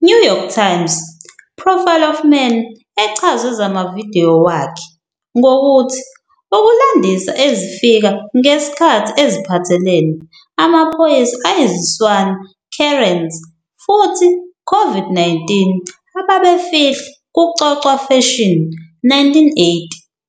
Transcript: "New York Times" profile of Mann echazwe zamavidiyo wakhe ngokuthi "Ukulandisa ezifika ngesikhathi eziphathelene amaphoyisa ayiziswana Karens futhi Covid-19 Ababefihla" kucocwa fashion "1980